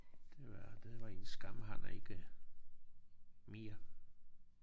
Det var det var en skam han er ikke mere